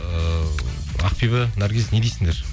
ыыы ақбибі наргиз не дейсіңдер